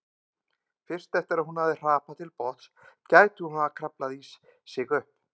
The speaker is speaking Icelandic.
Fyrst eftir að hún hefði hrapað til botns gæti hún kraflað sig upp.